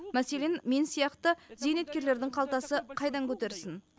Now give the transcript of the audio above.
мәселен мен сияқты зейнеткерлердің қалтасы қайдан көтерсін